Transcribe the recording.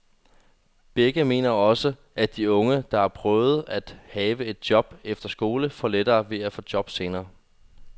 Begge mener også, at de unge, der har prøvet at have et job efter skole, får lettere ved at få et job senere hen.